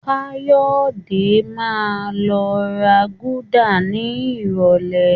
Káyọ̀dé máa lọ ra gúdà ní ìrọ̀lẹ́